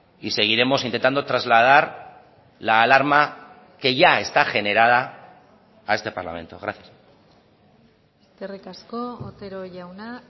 y seguiremos intentando trasladar la alarma que ya está generada a este parlamento gracias eskerrik asko otero jauna